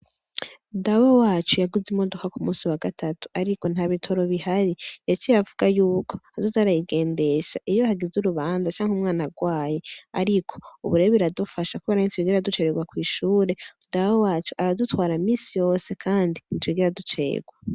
Dawe wacu yaguze imodoka kumunsi wagatatu, ariko ntabitoro bihari, yaciye avuga yuko, azoza arayigendesha iyo hageze urubanza, canke umwana agwaye, ariko ubu rero biradufasha kubera ntitwigera ducererwa kw'ishure, Dawe wacu aradutwara misi yose, kandi ntitwigera ducererwa.